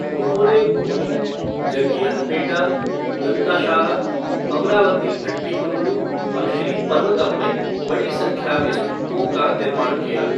उन्होंने गोली, जग्गियाहपेटा, गंताशाला, अमरावती भट्टीप्रोलु और श्री पर्वतम में बड़ी संख्या में स्तूपों का निर्माण किया।